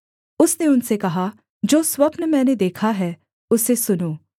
उसने उनसे कहा जो स्वप्न मैंने देखा है उसे सुनो